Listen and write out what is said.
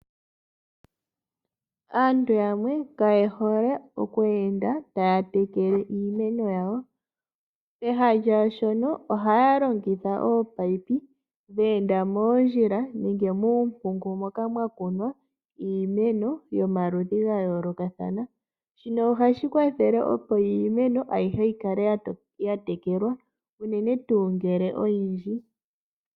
Aantu yamwe kaye hole okwenda taya tekele iimeno yawo, peha lyashono oha ya longitha oopayipi dhe enda moondjila nenge dhe enda mumpungu moka mwakunwa iimeno yomaludhi ga yolokathana. Shino ohashi kwathele opo iimeno ayihe yi kale ya tekelwa unene tu ngele iimeno oyindji.